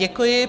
Děkuji.